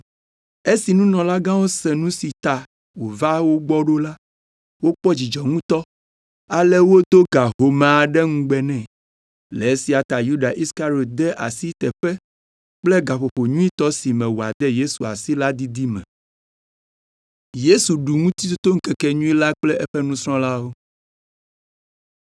Esi nunɔlagãwo se nu si ta wòva wo gbɔ ɖo la, wokpɔ dzidzɔ ŋutɔ ale wodo ga home aɖe ŋugbe nɛ. Le esia ta Yuda Iskariɔt de asi teƒe kple gaƒoƒo nyuitɔ si me wòade Yesu asi la didi me.